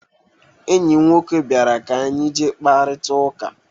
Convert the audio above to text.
Ọyim nwoke bịara ka anyị jee kparita ụka.